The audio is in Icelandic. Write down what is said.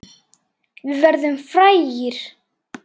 Við verðum frægir.